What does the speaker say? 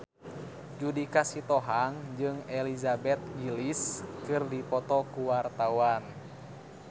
Judika Sitohang jeung Elizabeth Gillies keur dipoto ku wartawan